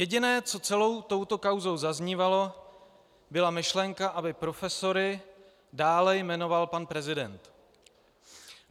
Jediné, co celou touto kauzou zaznívalo, byla myšlenka, aby profesory dále jmenoval pan prezident.